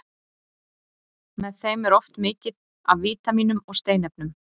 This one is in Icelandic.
Með þeim er oft mikið af vítamínum og steinefnum.